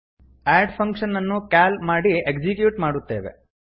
ಅಡ್ function ಅನ್ನು call ಮಾಡಿ execute ಮಾಡುತ್ತೇವೆ